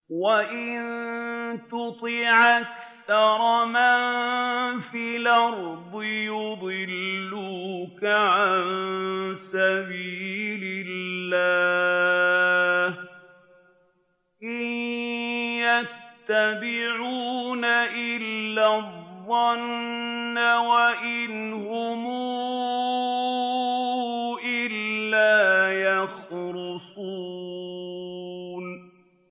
وَإِن تُطِعْ أَكْثَرَ مَن فِي الْأَرْضِ يُضِلُّوكَ عَن سَبِيلِ اللَّهِ ۚ إِن يَتَّبِعُونَ إِلَّا الظَّنَّ وَإِنْ هُمْ إِلَّا يَخْرُصُونَ